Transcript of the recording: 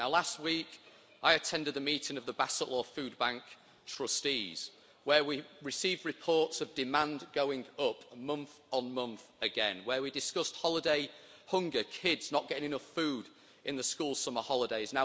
Now last week I attended a meeting of the Bassetlaw Food Bank trustees, where we received reports of demand going up month on month again, where we discussed holiday hunger, kids not getting enough food in the school summer holidays.